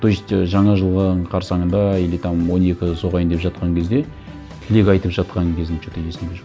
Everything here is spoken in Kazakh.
то есть ы жаңа жылғы қарсанында или там он екі соғайын деп жатқан кезде тілек айтып жатқан кезім что то есімде жоқ